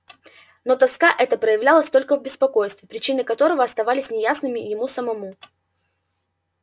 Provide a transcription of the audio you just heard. но тоска эта проявлялась только в беспокойстве причины которого оставались неясными ему самому